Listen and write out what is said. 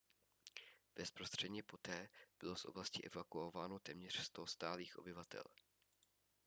bezprostředně poté bylo z oblasti evakuováno téměř 100 stálých obyvatel